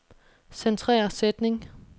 Centrer sætning.